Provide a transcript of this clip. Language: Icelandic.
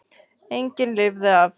Enginn lifði af.